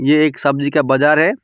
एक सब्जी का बाजार है।